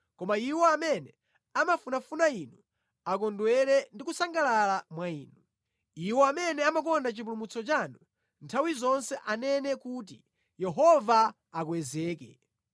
Koma iwo amene amafunafuna Inu akondwere ndi kusangalala mwa Inu; iwo amene amakonda chipulumutso chanu nthawi zonse anene kuti, “Yehova akwezeke!”